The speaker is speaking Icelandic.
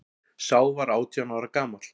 Sá var átján ára gamall